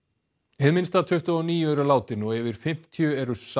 hið minnsta tuttugu og níu eru látin og yfir fimmtíu eru sár